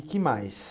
E que mais?